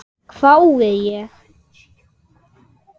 hvái ég.